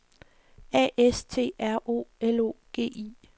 A S T R O L O G I